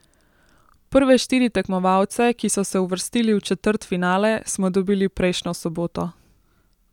Prve štiri tekmovalce, ki so se uvrstili v četrtfinale, smo dobili prejšnjo soboto.